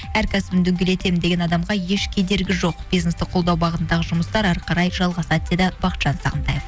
әр кәсібін дөңгелетемін деген адамға еш кедергі жоқ бизнесті қолдау бағытындағы жұмыстар әрі қарай жалғасады деді бақытжан сағынтаев